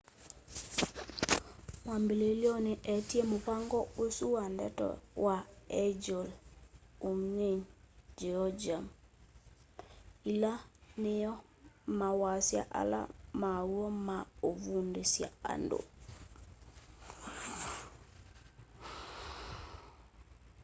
mwambililyoni eetie muvango usu wa ndeto wa hangeul hunmin jeongeum ila niyo mawasya ala maw'o ma uvundusya andu